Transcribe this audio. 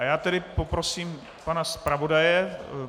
A já tedy poprosím pana zpravodaje.